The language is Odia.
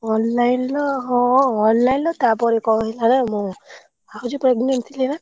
Online ର ହଁ online ର ତାପରେ କଣ ହେଲା ନା? ମୁଁ ଭାଉଜ pregnant ଥିଲେ ବା।